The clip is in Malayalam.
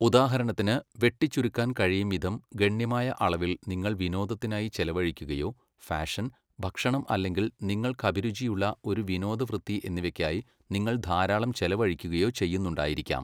ഉദാഹരണത്തിന്, വെട്ടിച്ചുരുക്കാൻ കഴിയുംവിധം ഗണ്യമായ അളവിൽ നിങ്ങൾ വിനോദത്തിനായി ചെലഴിക്കുകയോ ഫാഷൻ, ഭക്ഷണം അല്ലെങ്കിൽ നിങ്ങൾക്കഭിരുചിയുള്ള ഒരു വിനോദവൃത്തി എന്നിവയ്ക്കായി നിങ്ങൾ ധാരാളം ചെലവഴിക്കുകയോ ചെയ്യുന്നുണ്ടായിരിക്കാം.